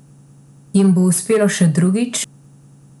Jim bo uspelo še drugič?